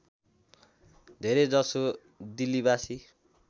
धेरै जसो दिल्लीवासी